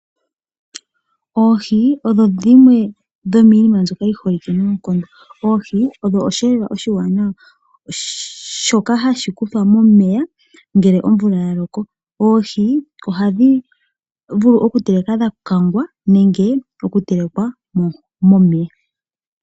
Oohi odho dhimwe dhomiinima mbyoka yi holike noonkondo, oohi odho osheelelwa oshiwanawa shoka hashi kuthwa momeya ngele omvula ya loko, oohi ohadhi vulu okutelekwa dha kangwa nenge dha telekwa momeya .